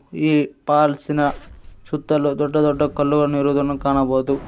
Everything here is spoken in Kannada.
ಈ ಪಾಲ್ಸ್ ಇನ ಸುತ್ತಲು ದೊಡ್ಡ ದೊಡ್ಡ ಕಲ್ಲುವನ್ನು ಇರುವುದು ಕಾಣಬೊದು.